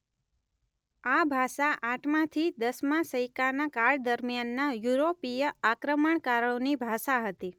આ ભાષા આઠમાથી દસમા સૈકાના કાળ દરમિયાનના યુરોપીય આક્રમણકારોની ભાષા હતી.